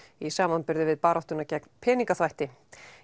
í samanburði við baráttuna gegn peningaþvætti